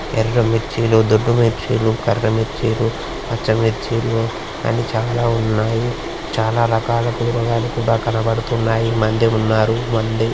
ఎర్ర మిర్చిలు దొడ్డి మిర్చీలు కర్ర మిర్చీలు పచ్చ మిర్చిలు అని చాలా ఉన్నాయి. చాలా రకాల కూరగాయలు కూడా కనబడుతున్నాయి. మంది ఉన్నారు. మంది